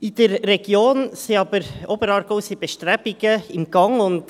In der Region Oberaargau sind aber Bestrebungen in Gange.